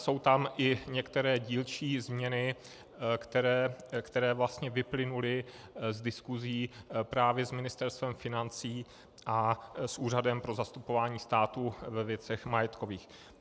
Jsou tam i některé dílčí změny, které vlastně vyplynuly z diskusí právě s Ministerstvem financí a s Úřadem pro zastupování státu ve věcech majetkových.